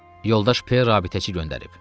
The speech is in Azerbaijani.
Yoldaş P rabitəçi göndərib.